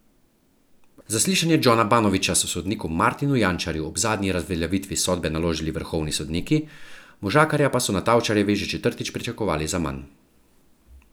Zaslišanje Džona Banovića so sodniku Martinu Jančarju ob zadnji razveljavitvi sodbe naložili vrhovni sodniki, možakarja pa so na Tavčarjevi že četrtič pričakovali zaman.